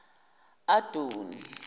adoni